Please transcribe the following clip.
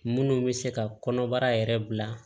Munnu bɛ se ka kɔnɔbara yɛrɛ bila